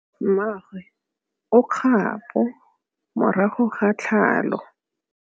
Mmagwe o kgapô morago ga tlhalô.